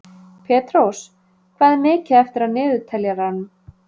Petrós, hvað er mikið eftir af niðurteljaranum?